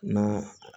Na